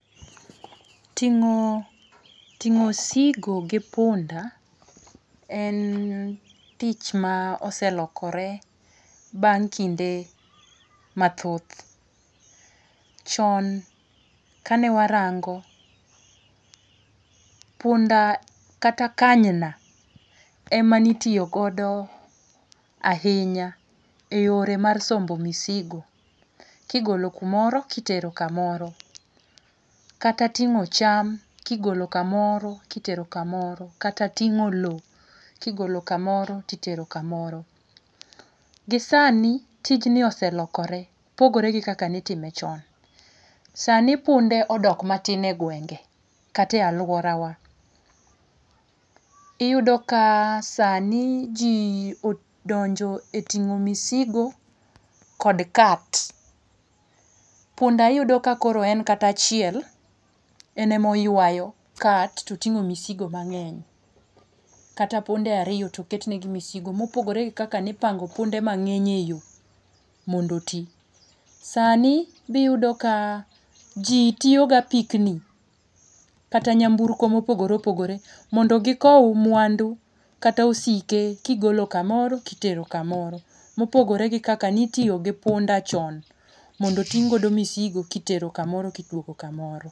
Ting'o, ting'o osigo gi punda en tich ma oselokore bang' kinde mathoth. Chon kane warango, punda kata kanyna ema ne itiyo godo ahinya e yore mar sombo misigo kigolo kumoro kitero kamoro. Kata ting'o cham kigolo kumoro kitero kamoro, kata ting'o lowo golo kamoro to itero kamoro. Gisani tij ni oselokore pogore gi kaka ne iime chon. Sani punde odok matin e gwenge kata e aluorawa , Iyudo ka sani ji odonjo e ting'o misigo kod kat. Punda iyudo ka koro en kata achiel en ema oyuayo kat to oting'o misigo mang'eny kata punde ariyo to oket negi misigo mopogore gi kaka ne ipango punde mang'eny eyo mondo oti. Sani be iyudo kai jitiyo gi apikni kata nyamburko mopogore opogore mondo gikow mwandu kata osike kigolo kamoro kitero kamoro mopogore gi kaka nitiyo gi punda chon mondo oting' godo misigo kitero kamoro kiduogo kamoro.